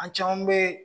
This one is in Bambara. An caman bɛ yen